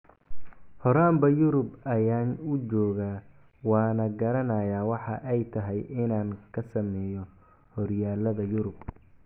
Horaanba Yurub ayaan u joogaa, waana garanayaa waxa ay tahay inaan ka sameeyo horyaalada Yurub.